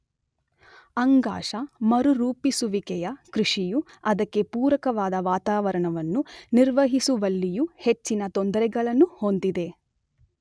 ಅಂಗಾಶ ಮರುರೂಪಿಸುವಿಕೆಯ ಕೃಷಿಯು ಅದಕ್ಕೆಪೂರಕವಾದ ವಾತಾವರಣವನ್ನು ನಿರ್ವಹಿಸುವಲ್ಲಿಯೂ ಹೆಚ್ಚಿನ ತೊಂದರೆಗಳನ್ನು ಹೊಂದಿದೆ.